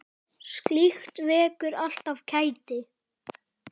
Slíkt vekur alltaf kæti.